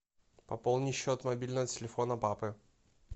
пополни счет мобильного телефона папы